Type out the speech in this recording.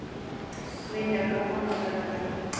Vinjar, hvaða mánaðardagur er í dag?